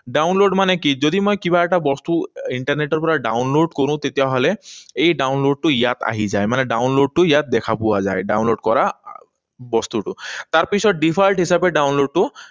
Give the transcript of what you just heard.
Download মানে কি? যদি মই কিবা এটা বস্তু ইণ্টাৰনেটৰ পৰা download কৰোঁ, তেতিয়াহলে এই download টো ইয়াত আহি যায়। মানে download টো ইয়াত দেখা পোৱা যায়, download কৰা আহ বস্তুটো। তাৰপিছত default হিচাপে download টো